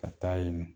Ka taa yen